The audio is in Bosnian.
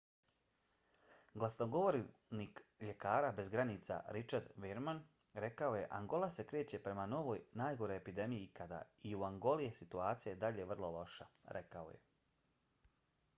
glasnogovornik ljekara bez granica richard veerman rekao je: angola se kreće prema svojoj najgoroj epidemiji ikada i u angoli je situacija i dalje vrlo loša rekao je